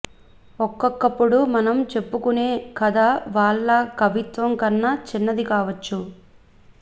ఒక్కొక్కప్పుడు మనం చెప్పుకునే కథ వాళ్ళ కవిత్వం కన్నా చిన్నది కావచ్చు